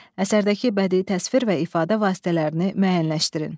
Əsərdəki bədii təsvir və ifadə vasitələrini müəyyənləşdirin.